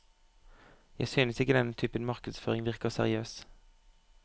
Jeg synes ikke denne typen markedsføring virker seriøs.